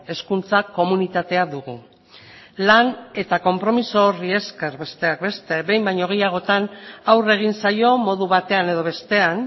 hezkuntza komunitatea dugu lan eta konpromiso horri esker besteak beste behin baino gehiagotan aurre egin zaio modu batean edo bestean